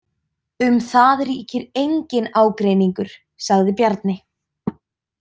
Um það ríkir enginn ágreiningur, sagði Bjarni.